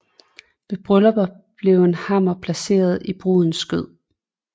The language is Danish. Ved bryllupper blev en hammer placeret i brudens skød